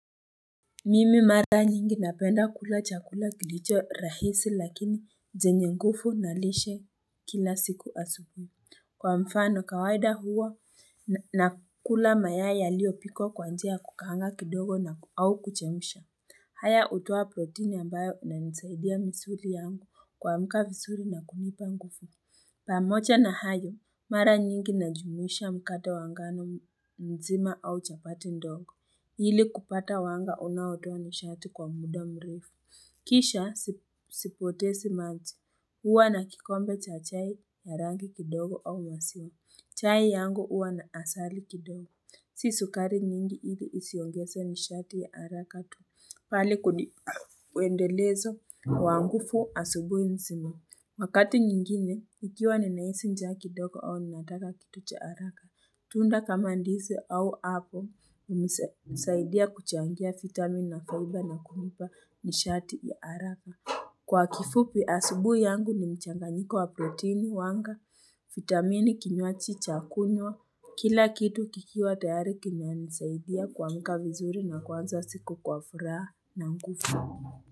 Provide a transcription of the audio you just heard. Mimi mara nyingi napenda kula chakula kilicho rahisi lakini zenye ngufu na lishe kila siku asubui kwa mfano kawaida huwa nakula mayai yaliopikwa kwa njia ya kukaanga kidogo au kuchemsha haya utowa protini ambayo inanisaidia misuri yangu kuamka visuri na kunipa ngufu Pamocha na hayo, mara nyingi najumuisha mkate wa ngano mzima au chapati ndongo. Hili kupata wanga unaotoa nishati kwa muda mrefu. Kisha sipotesi maji. Huwa na kikombe cha chai ya rangi kidogo au masio. Chai yangu uwa na asali kidogo. Si sukari nyingi hili isiongese nishati haraka tu. Pale kudip uendelezo, wa ngufu asubui nzima. Wakati nyingine, ikiwa ninaisi njaa kidogo au ninaataka kitu cha araka. Tunda kama ndizi au apo, unisaidia kuchangia vitamin na faiba na kunipa nishati ya araka. Kwa kifupi asubui yangu ni mchanganyiko wa protini wanga, vitamini kinywachi cha kunywa, kila kitu kikiwa tayari kinanisaidia kuamka vizuri na kuanza siku kwa furaha na ngufu.